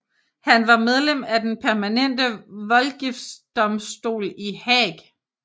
Han var medlem af den permanente voldgiftsdomstol i Haag